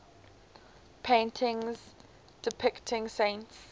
paintings depicting saints